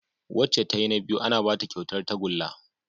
Wacca tayi na biyu ana Bata kyautar tagulla